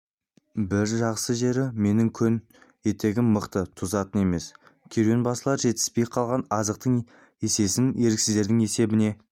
бір жақсы жері менің көн етігім мықты тозатын емес керуенбасылар жетіспей қалған азықтың есесін еріксіздердің есебіне